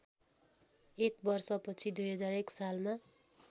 एक वर्षपछि २००१ सालमा